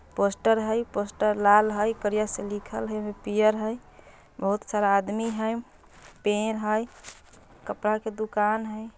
पोस्टर हई पोस्टर लाल हई करिया से लिखल हई पियर हई बहुत सारा आदमी हई पेड़ हई कपड़ा के दुकान हई ।